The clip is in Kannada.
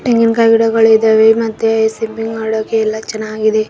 ಮತ್ತೆ ಎಲ್ಲರು ಸಹ ಪಾರ್ಕಿಂಗ್ ಬಂದ್ರೆ ತುಂಬಾನೇ ಖುಷಿ ಪಡ್ತಾರೆ.